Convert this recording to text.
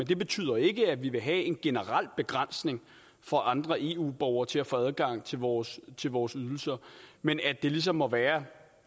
det betyder ikke at vi vil have en generel begrænsning for andre eu borgere til at få adgang til vores til vores ydelser men at det ligesom må være